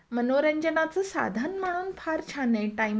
मनोरंजनाचं साधन म्हणून फार छान आहे. टाईमपास म्हणून.